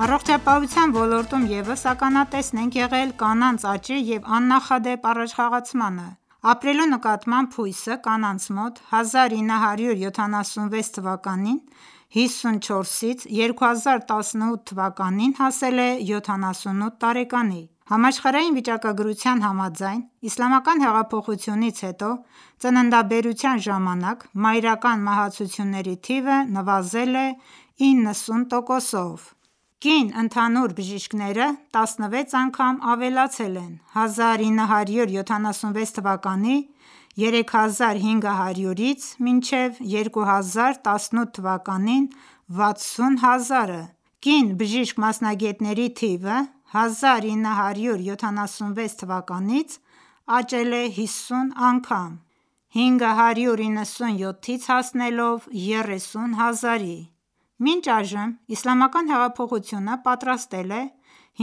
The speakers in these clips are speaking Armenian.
Առողջապահության ոլորտում ևս ականատես ենք եղել կանանց աճի և աննախադեպ առաջխաղացման։ Ապրելու նկատմամբ հույսը կանանց մոտ 1976-ի 54-ից 2018-ին հասել է 78 տարեկանի: Համաշխարհային վիճակագրության համաձայն՝ Իսլամական հեղափոխությունից հետո ծննդաբերության ժամանակ մայրական մահացությունների թիվը նվազել է 90%-ով։ Կին ընդհանուր բժիշկները 16 անգամ ավելացել են՝ 1976 թվականի 3500-ից մինչև 2018 թվականին 60000-ը: Կին բժիշկ-մասնագետների թիվը 1976 թվականից աճել է 50 անգամ՝ 597-ից հասնելով 30000-ի: Մինչ այժմ Իսլամական հեղափոխությունը պատրաստել է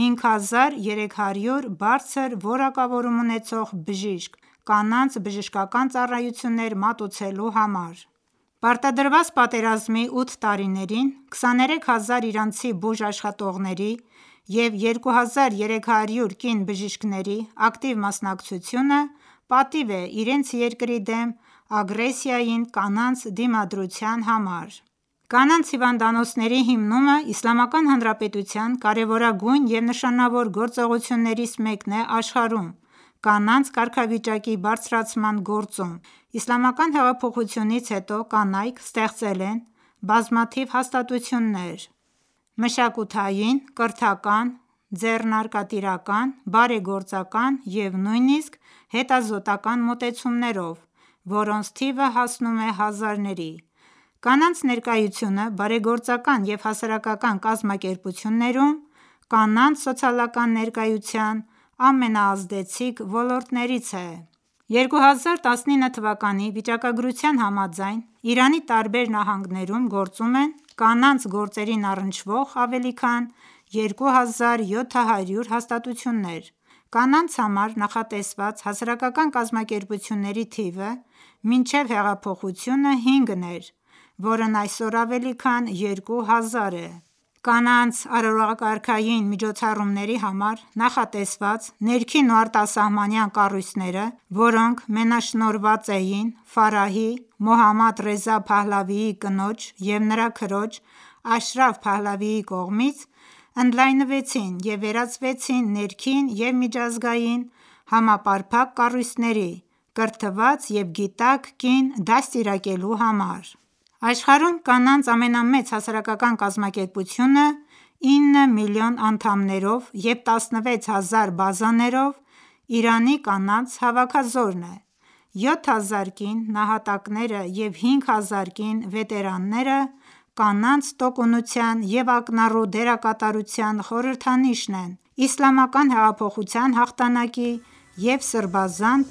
5300 բարձր որակավորում ունեցող բժիշկ՝ կանանց բժշկական ծառայություններ մատուցելու համար: Պարտադրված պատերազմի ութ տարիներին 23000 իրանցի բուժաշխատողների և 2300 կին բժիշկների ակտիվ մասնակցությունը պատիվ է իրենց երկրի դեմ ագրեսիային կանանց դիմադրության համար։ Կանանց հիվանդանոցների հիմնումը Իսլամական Հանրապետության կարևորագույն և նշանավոր գործողություններից մեկն է աշխարհում կանանց կարգավիճակի բարձրացման գործում: Իսլամական հեղափոխությունից հետո կանայք ստեղծել են բազմաթիվ հաստատություններ մշակութային, կրթական, ձեռնարկատիրական, բարեգործական և նույնիսկ հետազոտական մոտեցումներով, որոնց թիվը հասնում է հազարների: Կանանց ներկայությունը բարեգործական և հասարակական կազմակերպություններում կանանց սոցիալական ներկայության ամենաազդեցիկ ոլորտներից է։ 2019 թվականի վիճակագրության համաձայն՝ Իրանի տարբեր նահանգներում գործում են կանանց գործերին առնչվող ավելի քան 2700 հաստատություններ։ Կանանց համար նախատեսված հասարակական կազմակերպությունների թիվը մինչ հեղափոխությունը 5 էր, որն այսօր ավելի քան 2000 է։ Կանանց արարողակարգային միջոցառումների համար նախատեսված ներքին ու արտասահմանյան կառույցները, որոնք մենաշնորհված էին Ֆարահի՝ Մոհամմադ Ռեզա Փահլավիի կնոջ և նրա քրոջ՝ Աշրաֆ Փահլավիի կողմից, ընդլայնվեցին և վերածվեցին ներքին և միջազգային համապարփակ կառույցների՝ կրթված և գիտակ կին դաստիարակելու համար: Աշխարհում կանանց ամենամեծ հասարակական կազմակերպությունը՝ 9 միլիոն անդամներով և 16 հազար բազաներով, Իրանի կանանց հավաքազորն է: 7000 կին նահատակները և 5000 կին վետերանները կանանց տոկունության և ակնառու դերակատարության խորհրդանիշն են Իսլամական հեղափոխության հաղթանակի և սրբազան